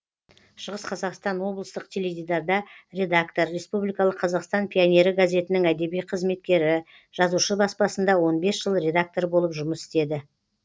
шығыс қазақстан облыстық теледидарда редактор республикалық қазақстан пионері газетінің әдеби қызметкері жазушы баспасында он бес жыл редактор болып жұмыс істеді